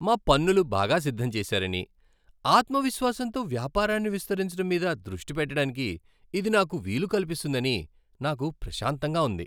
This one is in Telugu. మా పన్నులు బాగా సిద్ధం చేసారని, ఆత్మవిశ్వాసంతో వ్యాపారాన్ని విస్తరించడం మీద దృష్టి పెట్టడానికి ఇది నాకు వీలు కల్పిస్తుందని నాకు ప్రశాంతంగా ఉంది.